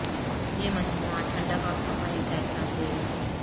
یہ مجموعہ ٹھنڈک اور صفائی کا احساس دے گا